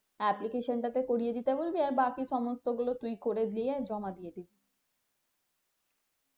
application টাতে করিয়ে দিতে বলবি আর বাকি সমস্ত গুলো তুই করে দিয়ে জমা দিয়ে দিবি